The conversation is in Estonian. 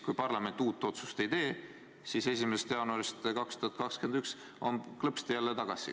Kui parlament uut otsust ei tee, siis 1. jaanuarist 2021 on vanad määrad klõpsti jälle tagasi.